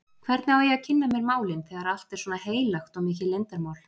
Hvernig á ég að kynna mér málin, þegar allt er svona heilagt og mikið leyndarmál?